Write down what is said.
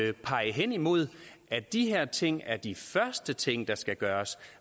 at pege hen imod at de her ting er de første ting der skal gøres